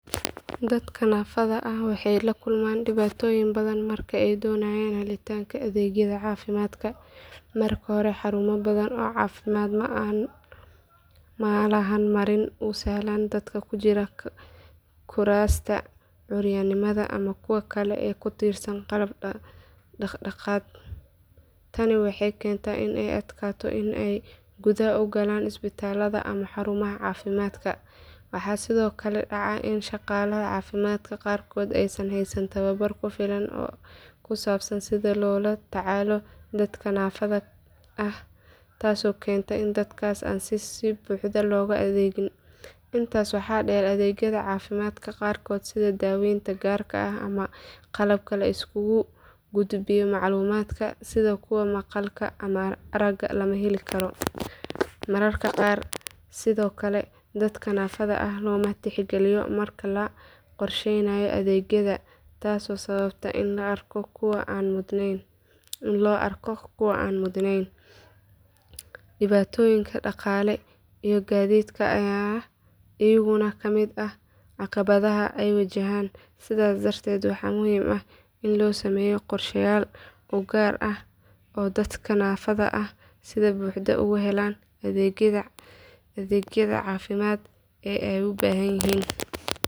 Dadka naafada ah waxay la kulmaan dhibaatooyin badan marka ay doonayaan helitaanka adeegyada caafimaadka. Marka hore xarumo badan oo caafimaad ma laha marin u sahlan dadka ku jira kuraasta curyaamiinta ama kuwa kale ee ku tiirsan qalab dhaqdhaqaaq. Tani waxay keentaa in ay adkaato in ay gudaha u galaan isbitaallada ama xarumaha caafimaadka. Waxaa sidoo kale dhacda in shaqaalaha caafimaadka qaarkood aysan haysan tababar ku filan oo ku saabsan sida loola tacaalo dadka naafada ah taasoo keenta in dadkaas aan si buuxda loogu adeegin. Intaa waxaa dheer adeegyada caafimaad qaarkood sida daaweynta gaarka ah ama qalabka la isugu gudbiyo macluumaadka sida kuwa maqalka ama aragga lama heli karo. Mararka qaar sidoo kale dadka naafada ah looma tixgeliyo marka la qorsheynayo adeegyada taasoo sababta in loo arko kuwo aan mudnayn. Dhibaatooyinka dhaqaale iyo gaadiidka ayaa iyaguna ka mid ah caqabadaha ay wajahaan. Sidaas darteed waxaa muhiim ah in la sameeyo qorsheyaal u gaar ah oo dadka naafada ah si buuxda ugu helaan adeegyada caafimaad ee ay u baahan yihiin.